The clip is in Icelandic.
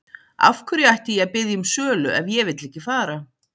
Af hverju ætti ég að biðja um sölu ef ég vill ekki fara?